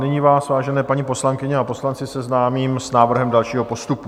Nyní vás, vážené paní poslankyně a poslanci, seznámím s návrhem dalšího postupu.